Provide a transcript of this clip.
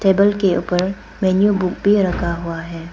Table के ऊपर menu book भी रखा हुआ है।